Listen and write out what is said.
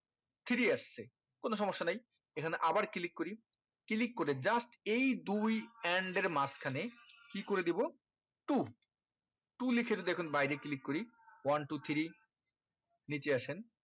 three আসছে কোনো সমস্যা নাই এখানে আবার click করি click করে just এই দুই and এর মাজখানে কি করে দিবো two two লিখে যদি এখন বাইরে click করি one two three নিচে আসেন